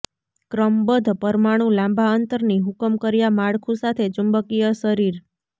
ક્રમબદ્ધ પરમાણુ લાંબા અંતરની હુકમ કર્યા માળખું સાથે ચુંબકીય શરીર